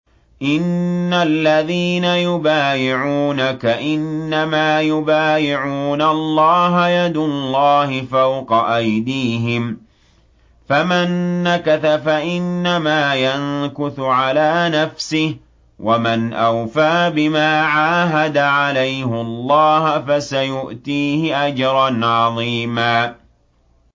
إِنَّ الَّذِينَ يُبَايِعُونَكَ إِنَّمَا يُبَايِعُونَ اللَّهَ يَدُ اللَّهِ فَوْقَ أَيْدِيهِمْ ۚ فَمَن نَّكَثَ فَإِنَّمَا يَنكُثُ عَلَىٰ نَفْسِهِ ۖ وَمَنْ أَوْفَىٰ بِمَا عَاهَدَ عَلَيْهُ اللَّهَ فَسَيُؤْتِيهِ أَجْرًا عَظِيمًا